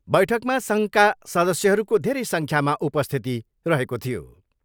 बैठकमा सङ्घका सदस्यहरूको धेरै सङ्ख्यामा उपस्थिति रहेको थियो।